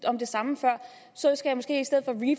om det samme før så skal